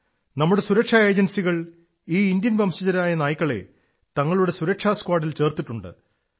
നമ്മുടെ സുരക്ഷാ ഏജൻസികൾ ഈ ഇന്ത്യൻ വംശജരായ നായ്ക്കളെ തങ്ങളുടെ സുരക്ഷാ സ്ക്വാഡിൽ ചേർത്തിട്ടുണ്ട്